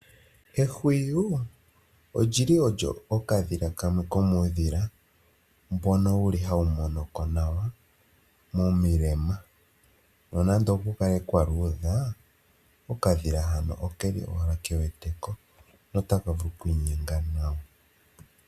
Ehwiyu olyili ondyo okadhila kamwe komuudhila mbono wuli owo hawu monoko nawa momilema, nonando okukale kwaaludha okadhila hano okeli owala kewete ko notaka vulu owala okwiinyenga nawa.